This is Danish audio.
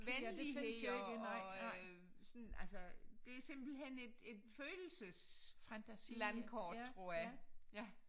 Venlighed og og øh sådan altså det er simpelthen et en følelseslandkort tror jeg ja